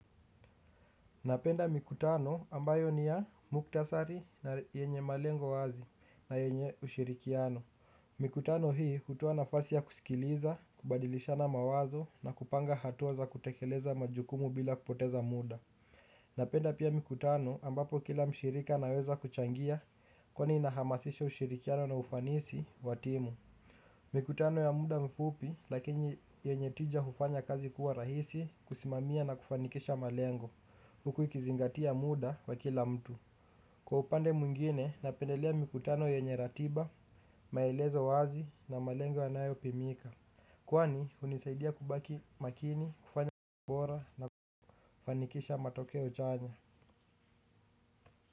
Napenda mikutano ambayo ni ya muktasari na yenye malengo wazi na yenye ushirikiano. Mikutano hii hutoa nafasi ya kusikiliza, kubadilishana mawazo na kupanga hatua za kutekeleza majukumu bila kupoteza muda. Napenda pia mikutano ambapo kila mshirika anaweza kuchangia kwani inahamasisha ushirikiano na ufanisi wa timu. Mikutano ya muda mfupi lakini yenye tija hufanya kazi kuwa rahisi kusimamia na kufanikisha malengo. Huku ikizingatia muda wa kila mtu kwa upande mwingine napendelea mikutano yenye ratiba maelezo wazi na malengo yanayopimika kwani hunisaidia kubaki makini kufanya mambo bora na kufanikisha matokeo chanya.